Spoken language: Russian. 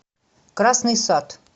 красный сад